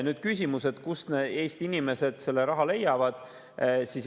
Nüüd küsimus, kust Eesti inimesed selle raha leiavad.